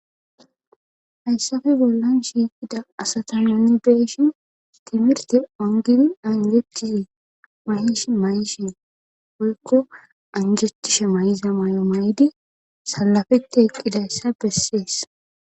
hayssafe bollan shiiqida asata noni beeshin timirte ongidi angecise mayish mayishi poykko anjatishe may7iza may7o may7ydi salafete eqqidayssa bessees